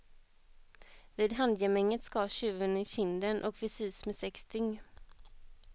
Vid handgemänget skars tjuven i kinden och fick sys med sex styng.